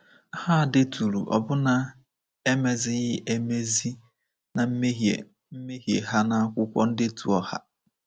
Ha deturu ọbụna emezighị emezi na mmehie mmehie ha n’akwụkwọ ndetu ọha.